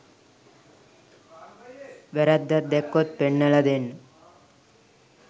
වැරද්දක් දැක්කොත් පෙන්නලා දෙන්න